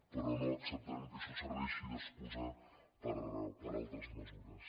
però no acceptarem que això serveixi d’excusa per a altres mesures